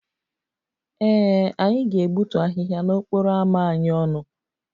Ee, anyị ga-egbutu ahịhịa n'okporo ámá anyị ọnụ